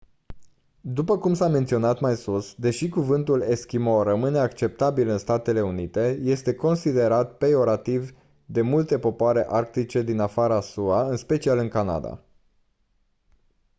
după cum s-a menționat mai sus deși cuvântul «eschimo» rămâne acceptabil în statele unite este considerat peiorativ de multe popoare arctice din afara sua în special în canada.